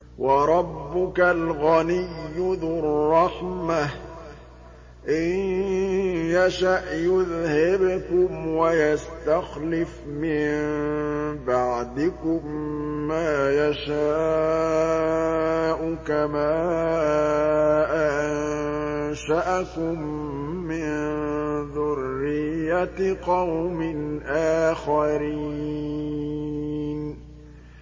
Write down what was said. وَرَبُّكَ الْغَنِيُّ ذُو الرَّحْمَةِ ۚ إِن يَشَأْ يُذْهِبْكُمْ وَيَسْتَخْلِفْ مِن بَعْدِكُم مَّا يَشَاءُ كَمَا أَنشَأَكُم مِّن ذُرِّيَّةِ قَوْمٍ آخَرِينَ